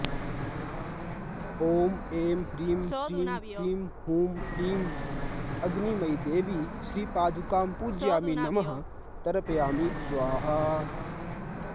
ॐ ऐं ह्रीं श्रीं क्रीं हूं ह्रीं अग्निमयीदेवी श्रीपादुकां पूजयामि नमः तर्पयामि स्वाहा